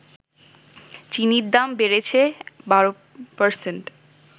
চিনির দাম বেড়েছে ১২%